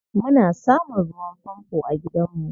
Muna samun ruwan fanfo a gidanmu.